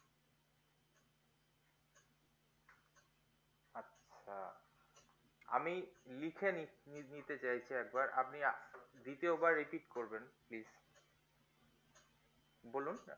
আচ্ছা আমি লিখে নিতে চাইছি একবার আপনি দ্বিতীয় বার repeat করবেন please বলুন